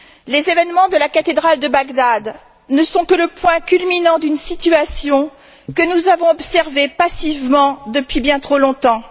Les événements de la cathédrale de Bagdad ne sont que le point culminant d'une situation que nous avons observée passivement depuis bien trop longtemps.